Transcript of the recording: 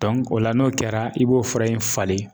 o la n'o kɛra i b'o fura in falen